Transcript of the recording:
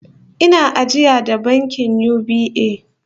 Ina ajiya da bankin UBA